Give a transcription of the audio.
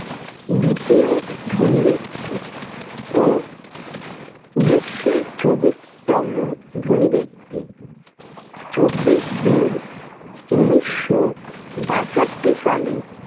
দ্বিতীয় ধনী ব্যক্তি ও বিশ্বের চবিশতম ধনী ব্যক্তি। চব্বিশ জুন, উনিশশো বাষট্টি সালে